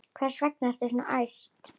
Hvers vegna ertu svona æst?